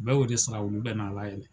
U bɛ o de sara olu bɛ n'a labɛn